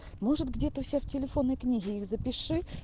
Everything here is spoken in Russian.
может где-то у себя в телефонной книге их запиши